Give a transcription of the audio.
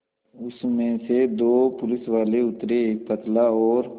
उसमें से दो पुलिसवाले उतरे एक पतला और